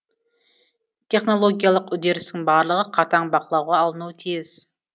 технологиялық үдерістің барлығы қатаң бақылауға алынуы тиіс